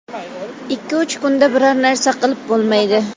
Ikki uch kunda biron narsa qilib bo‘lmaydi.